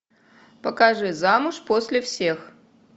покажи замуж после всех